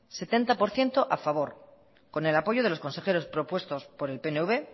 setenta por ciento a favor con el apoyo de los consejeros propuestos por el pnv